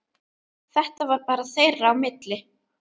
Þetta var bara þeirra á milli.